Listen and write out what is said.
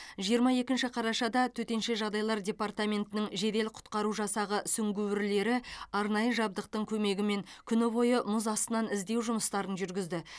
жиырма екінші қарашада төтенше жағдайлар департаментінің жедел құтқару жасағы сүңгуірлері арнайы жабдықтың көмегімен күні бойы мұз астынан іздеу жұмыстарын жүргізді